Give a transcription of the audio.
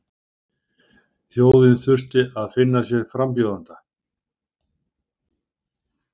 Þjóðin þurfti að finna sér frambjóðanda